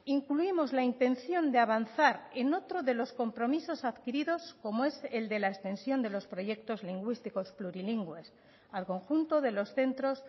incluimos la intención de avanzar en otro de los compromisos adquiridos como es el de la extensión de los proyectos lingüísticos plurilingües al conjunto de los centros